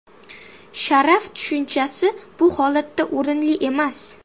Sharaf tushunchasi bu holatda o‘rinli emas.